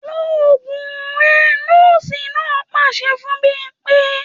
‘Lo ògùn re̩!’ nó̩ò̩sì náà pàs̩e fún Bímpé